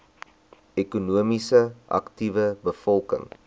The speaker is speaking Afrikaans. ekonomies aktiewe bevolking